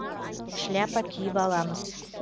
шляпа киіп аламыз